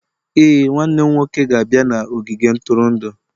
Ee, nwanne m nwoke ga-abịa n'ogige ntụrụndụ